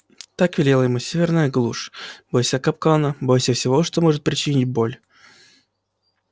так велела ему северная глушь бойся капкана бойся всего что может причинить боль